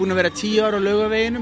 vera í tíu ár á Laugarveginum